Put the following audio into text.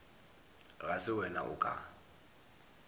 ga se wena o ka